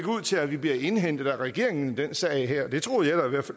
ud til at vi bliver indhentet af regeringen i den sag her det troede jeg da